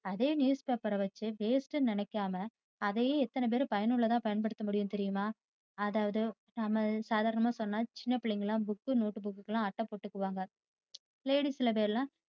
அதே news paper வைத்து waste னு நினைக்காம அதையே எத்தனை பேர் பயனுள்ளதா பயன்படுத்த முடியும் தெரியுமா? அதாவது நாம சாதாரணமா சொன்ன சின்னபிள்ளைங்கயெல்லாம் book notebook க்க்குயெல்லாம் அட்டை போட்டுக்குவாங்க. Ladies சில பேர்யெல்லாம்